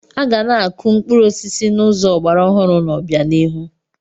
Aga na-akụ mkpụrụ osisi n'ụzọ ọgbara ọhụrụ n'obianihu.